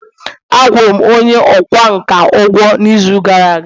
Akwụ rụ'm onye ọkwá nkà ugwo n’izu gara aga